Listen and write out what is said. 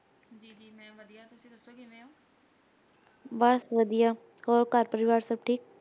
ਬਸ ਵਧੀਆ, ਹੋਰ ਘਰ ਪਰਿਵਾਰ ਸਭ ਠੀਕ l